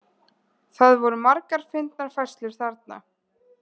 Það voru margar fyndnar færslur þarna.